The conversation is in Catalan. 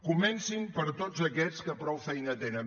comencin per tots aquests que prou feina tenen